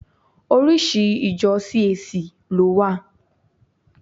Oríṣi ìjọ CAC ló wà.